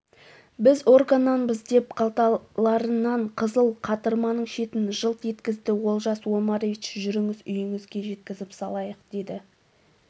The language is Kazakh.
біз органнанбыз деп қалталарынан қызыл қатырманың шетін жылт еткізді олжас омарович жүріңіз үйіңізге жеткізіп салайық деді